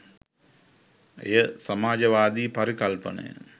එය සමාජවාදී පරිකල්පනය